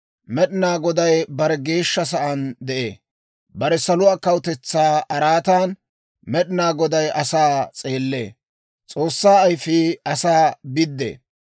Med'inaa Goday bare Geeshsha sa'aan de'ee; bare saluwaa kawutetsaa araatan, Med'inaa Goday asaa s'eellee; S'oossaa ayifii asaa biddee.